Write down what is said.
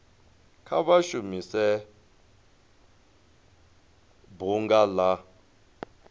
kha vha shumise bunga la